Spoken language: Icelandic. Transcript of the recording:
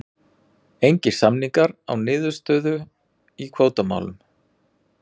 Engir samningar án niðurstöðu í kvótamálum